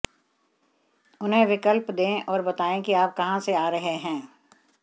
उन्हें विकल्प दें और बताएं कि आप कहां से आ रहे हैं